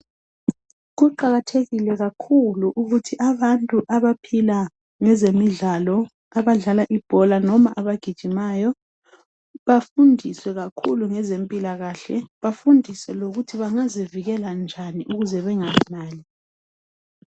Kuqakathekile kakhulu ukuthi abantu abaphila ngezemidlalo, abadlala ibhola noma abagijimayo bafundiswe kakhulu ngezempilakahle. Bafundiswe lokuthi bangazivikela njani ukuze bengahlali.